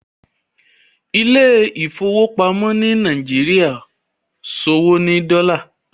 Ilé ìfowópamọ́ ni Nàìjíríà ṣòwò ní Dola.